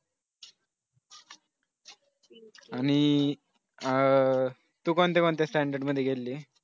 आणि अह तू कोणत्या कोणत्या standard मध्ये गेलेली